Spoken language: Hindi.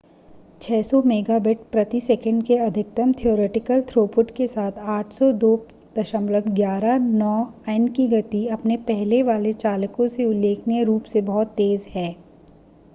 600 मेगाबिट/सेकंड के अधिकतम थियोरिटीकल थ्रोपुट के साथ 802.11n की गति अपने पहले वाले चालकों से उल्लेखनीय रूप से बहुत तेज़ है